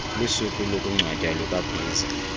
lusuku lokungcwatywa kukabhiza